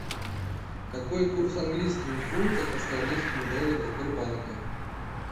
какой курс английского фунта к австралийскому доллару в сбербанке